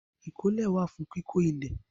Ìkọ́lé wà fún kíkó ilẹ̀.